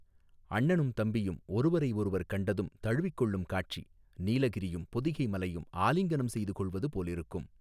அண்ணனும் தம்பியும் ஒருவரையொருவர் கண்டதும் தழுவிக் கொள்ளும் காட்சி நீலகிரியும் பொதிகை மலையும் ஆலிங்கனம் செய்து கொள்வது போலிருக்கும்.